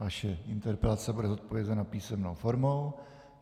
Vaše interpelace bude zodpovězena písemnou formou.